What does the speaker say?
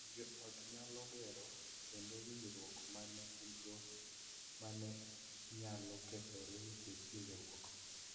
Jo ot nyalo gero kendo winjruok ma ne gin-go ma ne nyalo kethore nikech hinyruok.